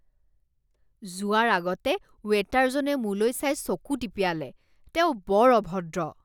যোৱাৰ আগতে ৱেটাৰজনে মোলৈ চাই চকু টিপিয়ালে। তেওঁ বৰ অভদ্ৰ।